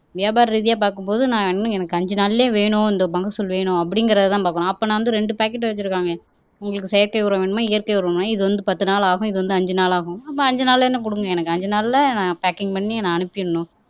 வியாபார ரீதியா பாக்கும்போது நான் இன்னும் எனக்கு அஞ்சு நாள்லயே வேணும் இந்த மகசூல் வேணும் அப்படிங்கறதுதான் பாக்கணும் அப்ப நான் வந்து ரெண்டு பாக்கெட் வச்சிருக்காங்க உங்களுக்கு செயற்கை உரம் வேணுமா இயற்கை உரம் வேணுமா இது வந்து, பத்து நாள் ஆகும் இது வந்து அஞ்சு நாள் ஆகும் அப்ப அஞ்சு நாள் என்ன குடுங்க எனக்கு அஞ்சு நாள்ல நான் பாக்கிங் பண்ணி நான் அனுப்பிடணும்